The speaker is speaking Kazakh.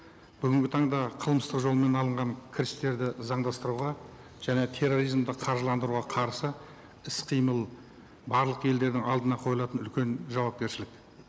бүгінгі таңда қылмыстық жолмен алынған кірістерді заңдастыруға және терроризмді қаржыландыруға қарсы іс қимыл барлық елдердің алдына қойылатын үлкен жауапкершілік